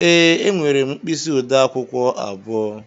Ee, enwere m mkpisi ode akwukwo abụọ.